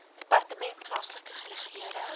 departement plaaslike regering